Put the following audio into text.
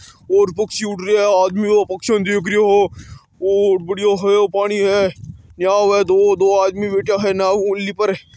और पक्षी उड़ रहा है आदमी पक्षी ने देख रिहा है और बाडिया हो या पानी है यहाँ दो नाव है दो आदमी बैठ्या है नाव ओनली पर।